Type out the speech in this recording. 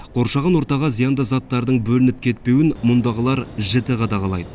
қоршаған ортаға зиянды заттардың бөлініп кетпеуін мұндағылар жіті қадағалайды